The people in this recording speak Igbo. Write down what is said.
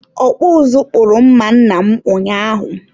ọkpụ ụzụ kpụrụ mma nna m ụnyaahụ.